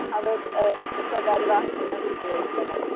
അവർ എഹ് സ്വകാര്യ വാഹങ്ങൾ ഉപയോഗിക്കുന്നത്.